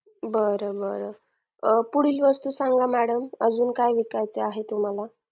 बर बर पुढील वस्तू सांगा madam अजून काय विकायचा आहे तुम्हाला